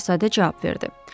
Şəhzadə cavab verdi.